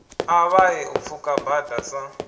ṱavhanye u pfuka bada sa